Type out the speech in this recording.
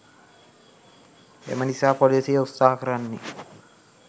එමනිසා පොලිසිය උත්සහ කරන්නේ